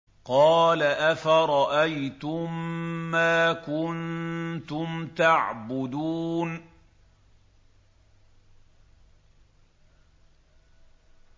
قَالَ أَفَرَأَيْتُم مَّا كُنتُمْ تَعْبُدُونَ